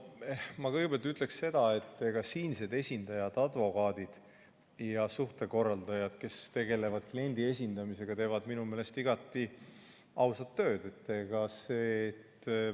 No ma kõigepealt ütlen seda, et siinsed esindajad, advokaadid ja suhtekorraldajad, kes tegelevad kliendi esindamisega, teevad minu meelest igati ausat tööd.